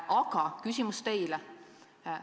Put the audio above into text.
Aga küsimus teile on selline.